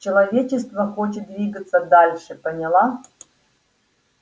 человечество хочет двигаться дальше поняла